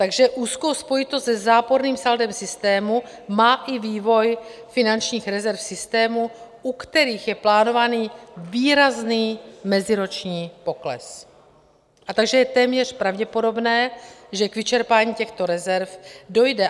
Takže úzkou spojitost se záporným saldem systému má i vývoj finančních rezerv v systému, u kterých je plánovaný výrazný meziroční pokles, takže je téměř pravděpodobné, že k vyčerpání těchto rezerv dojde.